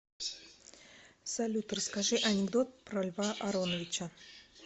салют расскажи анекдот про льва ароновича